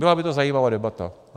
Byla by to zajímavá debata.